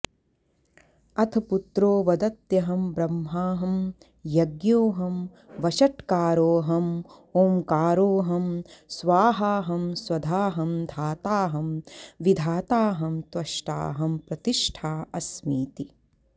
अथ पुत्रो वदत्यहं ब्रह्माहं यज्ञोऽहं वषट्कारोऽहमोंकारोऽहं स्वाहाहं स्वधाहं धाताहं विधाताहं त्वष्टाहं प्रतिष्ठास्मीति